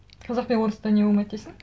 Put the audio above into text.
қазақ пен орыста не болмайды дейсің